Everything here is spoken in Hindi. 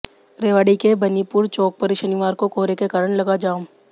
रेवाड़ी के बनीपुर चौक पर शनिवार को कोहरे के कारण लगा जाम